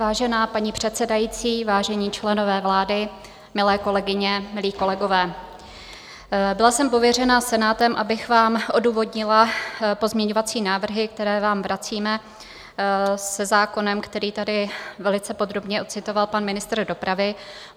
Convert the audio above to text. Vážená paní předsedající, vážení členové vlády, milé kolegyně, milí kolegové, byla jsem pověřena Senátem, abych vám odůvodnila pozměňovací návrhy, které vám vracíme se zákonem, který tady velice podrobně odcitoval pan ministr dopravy.